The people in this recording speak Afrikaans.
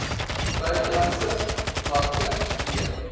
buitelandse markte d